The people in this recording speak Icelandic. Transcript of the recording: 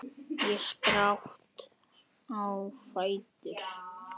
Ég spratt á fætur.